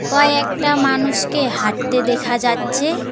কয়েকটা মানুষকে হাঁটতে দেখা যাচ্ছে।